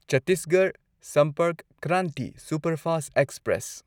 Chhattisgarh Sampark Kranti superfast express